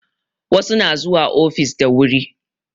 Wasu na zuwa ofis da wuri